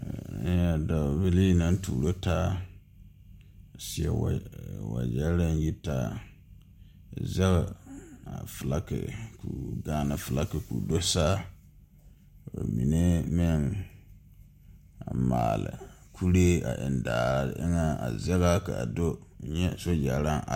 Dɔɔ bilii naŋ tuuro taa a seɛ wagyɛre aŋ yitaa zege a filaki Gaana filaki k'o do saa ba mine meŋ a maale kuree a endaare eŋaa ka a do nyɛ a sogyare naŋ are.